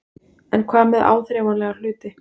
En hvað með áþreifanlega hluti?